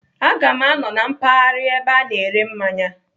Aga m anọ na mpaghara ebe ana ere mmanya.